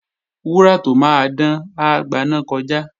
Wúrà tó máa dán, á gbaná kọjá